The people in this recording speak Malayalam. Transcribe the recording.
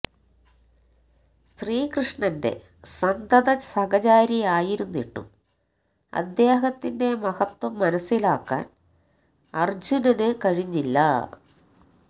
ശ്രീകൃഷ്ണന്റെ സന്തത സഹചാരി ആയിരുന്നിട്ടും അദ്ദേഹത്തിന്റെ മഹത്വം മനസ്സിലാക്കാന് അര്ജ്ജുനന് കഴിഞ്ഞില്ല